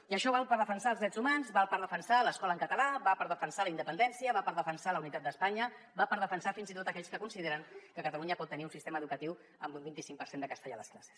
i això val per defensar els drets humans val per defensar l’escola en català val per defensar la independència val per defensar la unitat d’espanya val per defensar fins i tot aquells que consideren que catalunya pot tenir un sistema educatiu amb un vint i cinc per cent de castellà a les classes